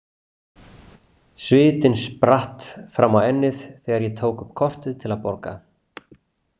Svitinn spratt fram á ennið þegar ég tók upp kortið til að borga.